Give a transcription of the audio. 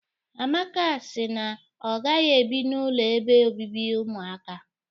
Amaka si na ọ gaghị ebi n'ụlọ ebe obibi ụmụakwụkwọ.